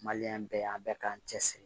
bɛɛ an bɛɛ k'an cɛ siri